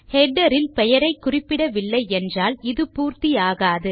header இல் பெயரை குறிப்பிடவில்லை என்றால் இது பூர்த்தி ஆகாதது